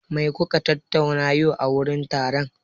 Me kuka tattauna yau a wurin taron?